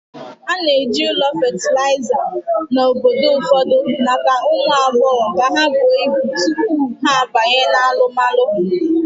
A na-eji ụlọ fatịlaịza na obodo ụfọdụ maka ụmụ agbọghọ ka ha buo ibu tupu ha abanye na alụmalu.